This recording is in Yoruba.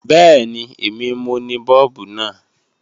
Bẹ́ẹ̀ni, èmi mo ni Bọ́ọ̀bù náà.